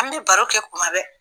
An bɛ baro kɛ kuma bɛɛ